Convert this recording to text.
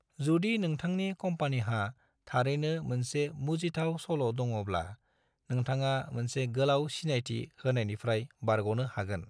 जुदि नोंथांनि कम्पानीहा थारैनो मोनसे मुजिथाव सल' दङब्ला नोंथाङा मोनसे गोलाव सिनायथि होनायनिफ्राय बारग'नो हागोन।